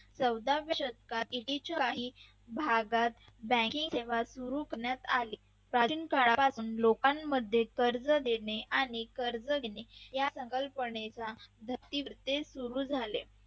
चौदाव्या शतकात काही भागात bank सेवा सुरू करण्यात आली प्राचीन काळापासून लोकांमध्ये कर्ज देणे आणि कर्ज घेणे या संकल्पनेचा सुरू झाले.